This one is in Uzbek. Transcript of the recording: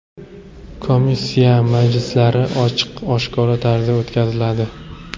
Komissiya majlislari ochiq-oshkora tarzda o‘tkaziladi.